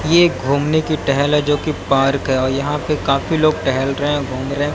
यह घूमने की टहल है जो कि पार्क है और यहां पे काफी लोग टहल रहे हैं घूम रहे हैं।